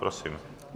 Prosím.